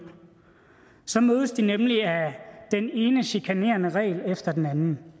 så mødes de nemlig af den ene chikanerende regel efter den anden